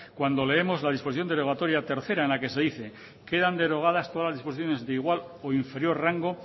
cuando leemos la disposición derogatoria tercera en la que se dice quedan derogadas todas las disposiciones de igual o inferior rango